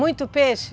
Muito peixe?